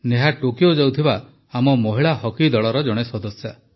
Neha Tokyo ଯାଉଥିବା ଆମ ମହିଳା ହକି ଦଳର ଜଣେ ସଦସ୍ୟ